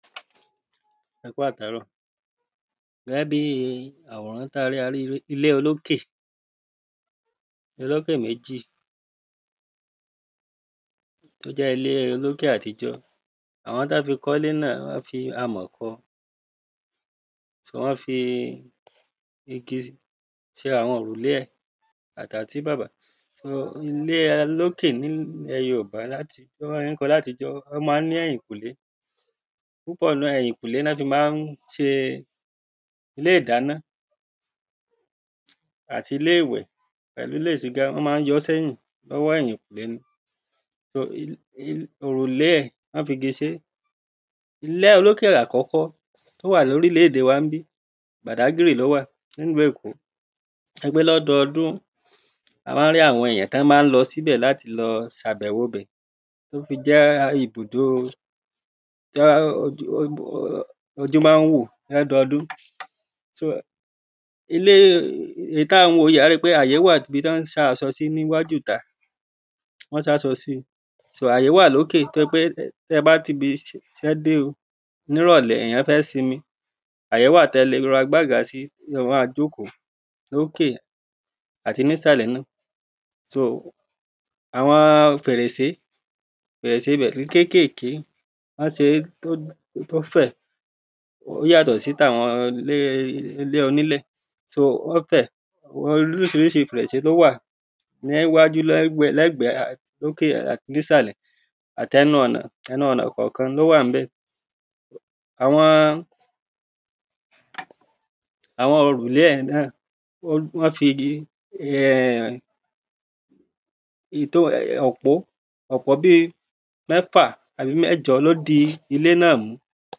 ẹkú àtárọ̀. gẹ́gẹ́ bíi àwòrán ta rí, a rí, ilé olókè, olókè méjì, tó jẹ́ ilée olókè àtijọ́. àwọn tán fi kọ́lé náà, wọ́n fi amọ̀ kọ wọ́n fi igi ṣe àwọn òrùlé ẹ̀ àtàtíbàbà. um ilé olókè ní ilẹ̀ẹ yoòbá láti, bọ́n ṣe ń kọ́ látijọ́, ó ma ń ní ẹ̀yìnkùlé, púpọ̀ọ́ nú ẹ̀, ẹ̀yìnkùlé ná fi ma ń ṣe ilé ìdáná, àtilé ìwẹ̀, pẹ̀lú ilé ìsigá, wọ́n ma ń yọọ́ sẹ́yin lọ́wọ́ ẹ̀yìnkùlé ni, òrùlé ẹ̀ wọ́n figi ṣé. ilẹ́ olúkè àkọ́kọ́ tó wà lórílẹ́ède wa ńbí, bàdágìrì lówà ní ìlú ẹ̀kó, tó jẹ́ pé lọ́dọdún, a ma ń rí àwọn èyàn tọ́n ma ń lọ síbẹ̀ láti lọ ṣàbẹ́wo ibẹ̀, tó fi jẹ́ ibùdóo tójú mán wò lọ́dọdún. um ilée èyìí táà ń wò yíi, àá ri pé àyé wà ibi tán sá asọ sí ní wájúùta, wọ́n sáṣọ si. sò àyé wà lóké tó jẹ́ pé tẹ́bá tibisẹ́ dé o,nírọ̀lẹ́, èyán fẹ́ simi, àyé wà tẹle rọra gbágba sí tíyàn-án ma jókòó lókè áti nísàlẹ̀ náà. um àwọn fèrèsé, fèrèsé ibẹ̀ kò rí kékèké, wọ́n ṣeé tó fẹ̀, ó yàtọ̀ sí tàwọn ilée ilé onílẹ̀, um wọ́n fẹ̀, àwọn oríṣiríṣi fèrèsé ló wà níwájú, lẹ́gbẹ̀ẹ́, lókè, àti nísàlẹ̀, àtẹnu ọ̀nà, ẹnu ọ̀nà kànkan lówà ńbẹ̀. àwọn-ọn, àwọn òrùlé yẹn náà, wọ́n figi um, òpó bíi mẹ́fà àbí mẹ́jọ ló dí ilé\ náà mú.